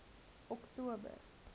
oktober